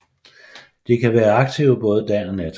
De kan være aktive både nat og dag